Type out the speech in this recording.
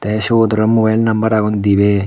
tay siyot araw mobile number agon dibey.